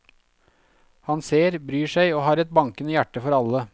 Han ser, bryr seg og har et bankende hjerte for alle.